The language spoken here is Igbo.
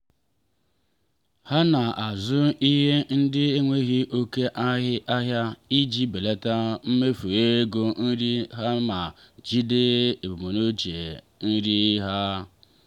ha na-azụ ihe ndi enwghi oke aha iji belata mmefu ego nri ha ma jigide ebumnuche nri ha.